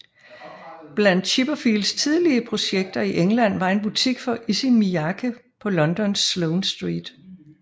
Blandt Chipperfields tidlige projekter i England var en butik for Issey Miyake på Londons Sloane Street